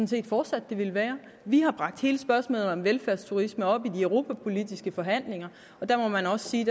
set fortsat det vil være vi har bragt hele spørgsmålet om velfærdsturisme op i de europapolitiske forhandlinger og der må man også sige